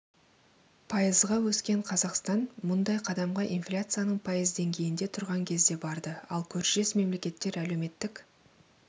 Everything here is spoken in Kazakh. пайызға өскен қазақстан мұндай қадамға инфляцияның пайыз деңгейінде тұрған кезде барды ал көршілес мемлекеттер әлеуметтік